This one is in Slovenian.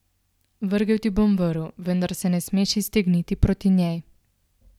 Vrgel ti bom vrv, vendar se ne smeš iztegniti proti njej.